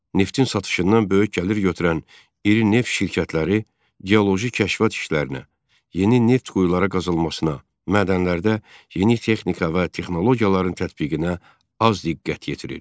Neftin satışından böyük gəlir götürən iri neft şirkətləri geoloji kəşfiyyat işlərinə, yeni neft quyuları qazılmasına, mədənlərdə yeni texnika və texnologiyaların tətbiqinə az diqqət yetirir.